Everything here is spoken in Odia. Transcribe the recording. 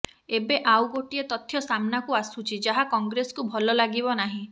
ଏବେ ଆଉ ଗୋଟିଏ ତଥ୍ୟ ସାମ୍ନାକୁ ଆସୁଛି ଯାହା କଂଗ୍ରେସକୁ ଭଲ ଲାଗିବ ନାହିଁ